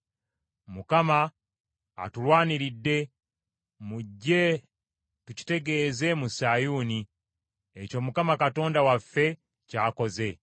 “‘ Mukama atulwaniridde, mujje tukitegeeze mu Sayuuni ekyo Mukama Katonda waffe ky’akoze.’